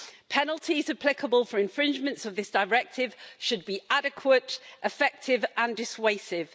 Penalties applicable for infringements of this directive should be adequate, effective and dissuasive.